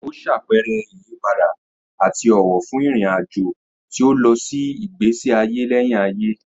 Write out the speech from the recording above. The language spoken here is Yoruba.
Ó ṣàpẹẹrẹ ìyípadà àti ọ̀wọ̀ fún ìrìn-àjò tí ó lọ sí ìgbésí ayé lẹ́yìn ayé.